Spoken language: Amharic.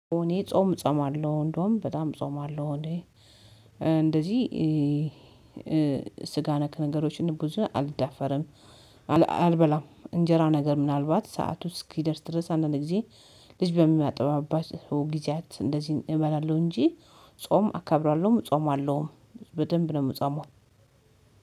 እኔ ጾም እጾማለሁ እንደውም በጣም ጾማለው እንዴ? እንደዚህ ስጋ ነክ ነገሮችን ብዙ አልዳፈርም። አልበላም እንጀራ ነገር ምናልባት ሰዓቱ እስኪደርስ ድረስ አንዳንድ ጊዜ ልጅ በሚያጠባባቸው ጊዜያት እንደዚህ እበላለሁ እንጂ ጾም አከብራለሁም እጾማለሁም። በደንብ ነው የምጸማው።